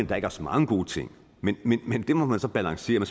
der ikke er så mange gode ting men det må man så balancere